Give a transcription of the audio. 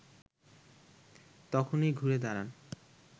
তখনই ঘুরে দাঁড়ান